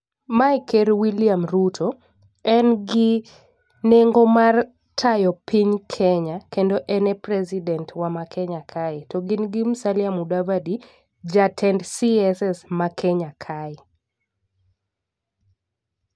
Mae ker Wiliam Ruto. En gi nengo mar tayo piny Kenya kendo en e president wa ma kenya kae to gin gi Musalia Mudavadi jatend CSes wa ma Kenya kae.